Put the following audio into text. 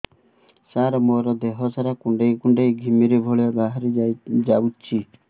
ସାର ମୋର ଦିହ ସାରା କୁଣ୍ଡେଇ କୁଣ୍ଡେଇ ଘିମିରି ଭଳିଆ ବାହାରି ଯାଉଛି